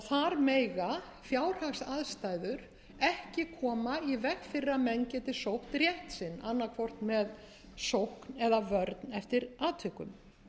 þar mega fjárhagsaðstæður ekki koma í veg fyrir að menn geti sótt rétt sinn annað hvort með sókn eða vörn eftir atvikum